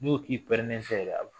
Ne ko k'i bi pɛrɛnnen fɛ de